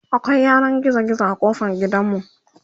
akwai yanan gizo gizo kofar gidanmu